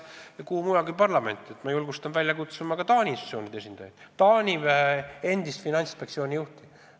Ma julgustan teid välja kutsuma ka Taani institutsioonide esindajaid, näiteks endist Taani finantsinspektsiooni juhti.